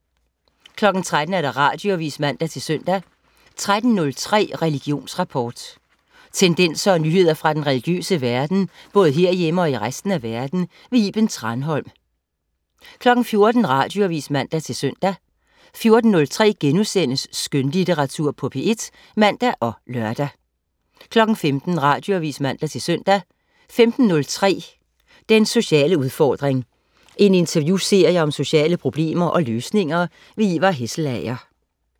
13.00 Radioavis (man-søn) 13.03 Religionsrapport. Tendenser og nyheder fra den religiøse verden, både herhjemme og i resten af verden. Iben Thranholm 14.00 Radioavis (man-søn) 14.03 Skønlitteratur på P1* (man og lør) 15.00 Radioavis (man-søn) 15.03 Den sociale udfordring. En interviewserie om sociale problemer og løsninger. Ivar Hesselager